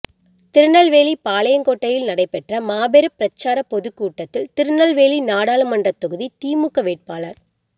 திருநெல்வேலி பாளையங்கோட்டையில் நடைபெற்ற மாபெரும் பிரச்சாரப் பொதுக்கூட்டத்தில் திருநெல்வேலி நாடாளுமன்றத் தொகுதி திமுக வேட்பாளர்